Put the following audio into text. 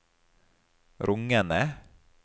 rungende